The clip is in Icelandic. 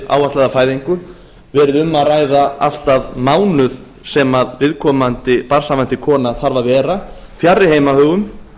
áætlaða fæðingu verið um að ræða allt að mánuð sem viðkomandi barnshafandi kona þarf að vera fjarri heimahögum